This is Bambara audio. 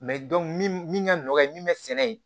min min ka nɔgɔ ye min bɛ sɛnɛ yen